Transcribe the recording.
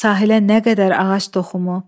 Sahilə nə qədər ağac toxumu?